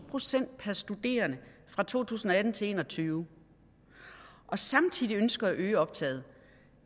procent per studerende fra to tusind og atten til en og tyve og samtidig ønsker at øge optaget